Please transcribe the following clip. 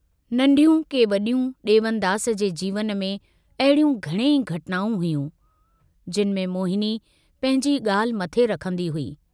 नन्ढयूं के वड्यूं डेवनदास जे जीवन में अहिड़ियूं घणेई घटनाऊं हुयूं, जिनि में मोहिनी पंहिंजी ॻाल्हि मथे रखंदी हुई।